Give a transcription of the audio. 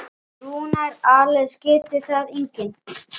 Rúnar Alex getur það einnig.